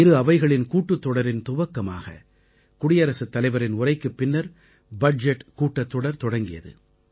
இரு அவைகளின் கூட்டுத் தொடரின் துவக்கமாக குடியரசுத் தலைவரின் உரைக்குப் பின்னர் பட்ஜெட் கூட்டத்தொடர் தொடங்கியது